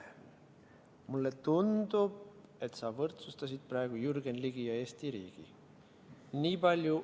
Mulle tundub, et sa võrdsustasid praegu Jürgen Ligi ja Eesti riigi.